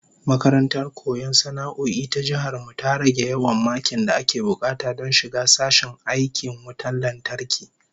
Makarantar koyon sana'o'i ta Jihar mu ta rage yawan makin da ake bukata don shiga sashen aikin wutan lantarki